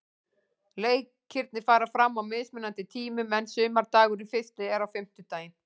Leikirnir fara fram á mismunandi tímum en sumardagurinn fyrsti er á fimmtudaginn.